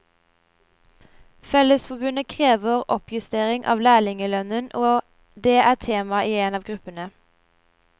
Fellesforbundet krever oppjustering av lærlingelønnen, og det er tema i en av gruppene.